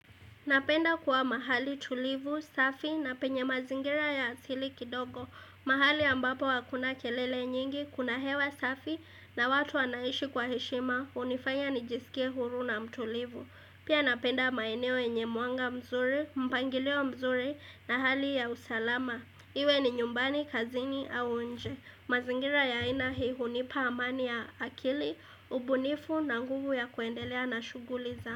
Napenda kuwa mahali tulivu, safi na penye mazingira ya asili kidogo. Mahali ambapo hakuna kelele nyingi, kuna hewa safi na watu wanaishi kwa heshima, hunifanya nijisikie huru na mtulivu. Pia napenda maeneo yenye mwanga mzuri, mpangilio mzuri na hali ya usalama. Iwe ni nyumbani, kazini au nje. Mazingira ya aina hii hunipa amani ya akili, ubunifu na nguvu ya kuendelea na shuguli za.